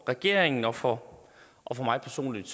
regeringen og for og for mig personligt